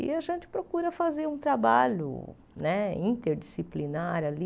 E a gente procura fazer um trabalho né interdisciplinar ali,